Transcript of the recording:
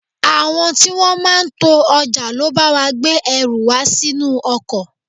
Àwọn tí wọn máa ń to ọjà ló bá wa gbé ẹrù wa sínú ọkọ̀.